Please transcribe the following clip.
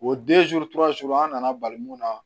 O an nana bali mun na